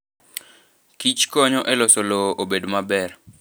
kichkonyo e loso lowo obed maber.